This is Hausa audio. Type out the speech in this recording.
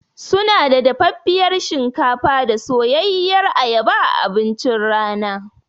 Sunada dafaffiyar shinkafa da soyayyiyar ayaba a abincin rana.